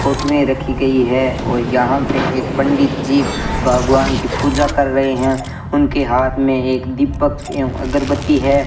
Photo में रखी गई है और यहां पे एक पंडित जी भगवान की पूजा कर रहे हैं उनके हाथ में एक दीपक एवं अगरबत्ती है।